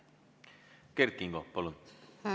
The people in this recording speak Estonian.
Kert Kingo, palun!